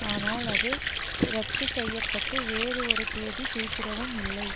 ஆனால் அது இரத்து செய்ய பட்டு வேறு ஒரு தேதி குறிப்பிடப்படவும் இல்லை